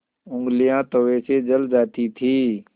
ऊँगलियाँ तवे से जल जाती थीं